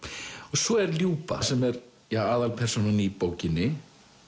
svo er Ljuba sem er aðalpersónan í bókinni